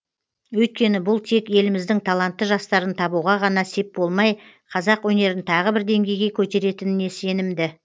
өйткені бұл тек еліміздің талантты жастарын табуға ғана сеп болмай қазақ өнерін тағы бір деңгейге көтеретініне сенімді